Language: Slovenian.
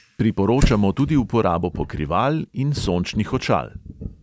Priporočamo tudi uporabo pokrival in sončnih očal.